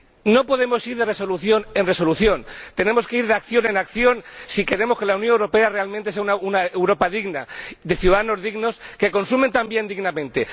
No podemos ir de resolución en resolución, tenemos que ir de acción en acción si queremos que la Unión Europea realmente sea una Europa digna, de ciudadanos dignos, que consumen también dignamente.